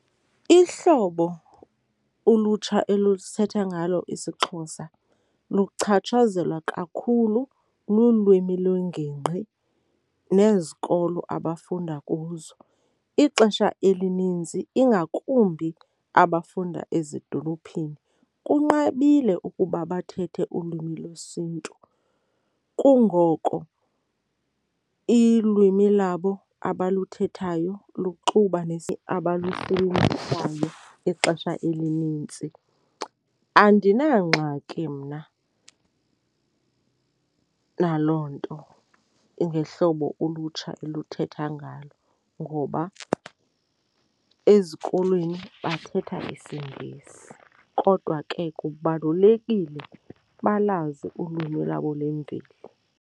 Ihlobo ulutsha elusithetha ngalo isiXhosa luchatshazelwa kakhulu lulwimi lwengingqi nezikolo abafunda kuzo. Ixesha elinintsi ingakumbi abafunda ezidolophini kunqabile ukuba bathethe ulwimi lwesiNtu, kungoko ilwimi labo abaluthethayo luxuba abalusebenzisayo ixesha elinintsi. Andinangxaki mna naloo nto, ngehlobo ulutsha oluthetha ngalo, ngoba ezikolweni bathetha isiNgesi kodwa ke kubalulekile balwazi ulwimi lwabo lwemveli.